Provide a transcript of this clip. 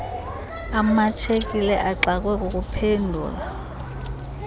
emashekile exakwe kukuphendula